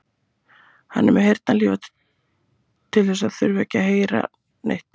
Hann er með heyrnarhlífar til þess að þurfa ekki að heyra neitt.